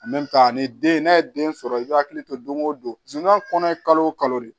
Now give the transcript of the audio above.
ni den n'a ye den sɔrɔ i bi hakili to don go don zonya kɔnɔ ye kalo o kalo de